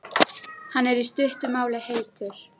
Hann er, í stuttu máli, heitur.